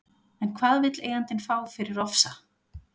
En hvað vill eigandinn fá fyrir Ofsa?